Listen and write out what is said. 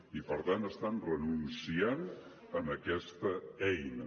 i per tant estan renunciant a aquesta eina